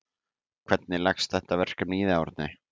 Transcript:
Hvernig leggst þetta verkefni í þig Árni?